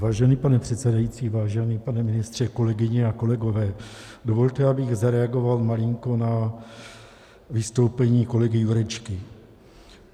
Vážený pane předsedající, vážený pane ministře, kolegyně a kolegové, dovolte, abych zareagoval malinko na vystoupení kolegy Jurečky.